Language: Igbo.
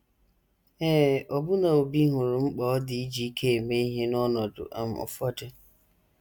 Ee, ọbụna Obi hụrụ mkpa ọ dị iji ike eme ihe n’ọnọdụ um ụfọdụ.